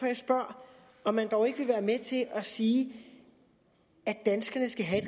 jeg spørger om man dog ikke vil være med til at sige at danskerne skal have